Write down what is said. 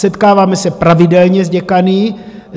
Setkáváme se pravidelně s děkany.